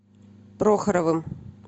прохоровым